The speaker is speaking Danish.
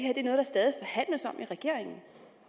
regeringen